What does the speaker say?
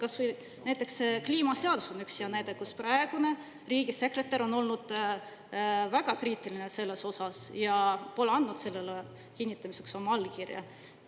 Kas või kliimaseadus on üks hea näide, mille puhul praegune riigisekretär on olnud väga kriitiline ja pole andnud sellele kinnitamiseks oma allkirja.